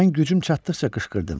Mən gücüm çatdıqca qışqırdım.